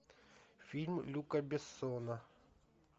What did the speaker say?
фильм люка бессона